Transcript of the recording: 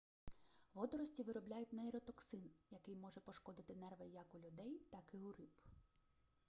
водорості виробляють нейротоксин який може пошкодити нерви як у людей так і у риб